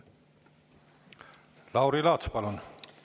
Lauri Laats, palun!